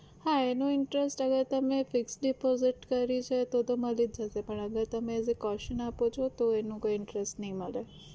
હા એનો interest હવે તમે fix deposit કરી છે તો તો મળી જશે પણ આ જે તમે as a caution આપો છો તો એનો કોઈ interest નહિ મળે